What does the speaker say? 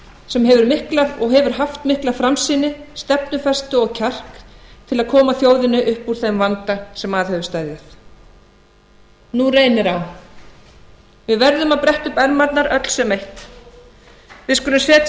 sem hefur mikla og hefur haft mikla framsýni stefnufestu og kjark til að koma þjóðinni upp úr þeim vanda sem að hefur steðjað nú reynir á við verðum að bretta upp ermarnar öll sem eitt við skulum setja